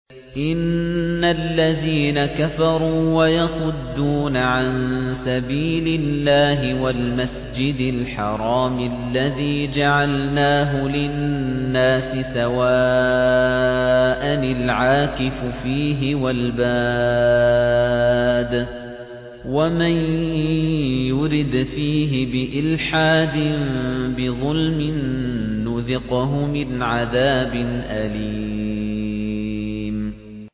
إِنَّ الَّذِينَ كَفَرُوا وَيَصُدُّونَ عَن سَبِيلِ اللَّهِ وَالْمَسْجِدِ الْحَرَامِ الَّذِي جَعَلْنَاهُ لِلنَّاسِ سَوَاءً الْعَاكِفُ فِيهِ وَالْبَادِ ۚ وَمَن يُرِدْ فِيهِ بِإِلْحَادٍ بِظُلْمٍ نُّذِقْهُ مِنْ عَذَابٍ أَلِيمٍ